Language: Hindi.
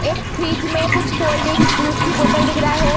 एक फ्रिज में कुछ कोल्ड ड्रिंक्स जूस की बोतल दिख रहा है।